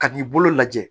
Ka n'i bolo lajɛ